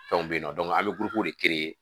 Fɛnw bɛ yen nɔ an bɛ de kɛ yen